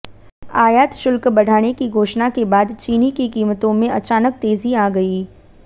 आयात शुल्क बढ़ाने की घोषणा के बाद चीनी की कीमतों में अचानक तेजी आ गई